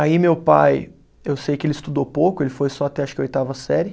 Aí meu pai, eu sei que ele estudou pouco, ele foi só até acho que a oitava série.